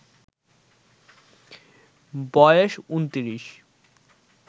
বয়েস ২৯